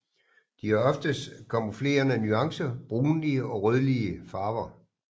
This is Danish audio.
De har oftest kamuflerende nuancer brunlige og rødlige farver